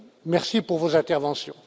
Merci pour vos interventions.